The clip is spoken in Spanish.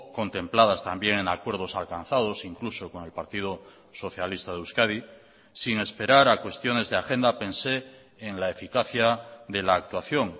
contempladas también en acuerdos alcanzados incluso con el partido socialista de euskadi sin esperar a cuestiones de agenda pensé en la eficacia de la actuación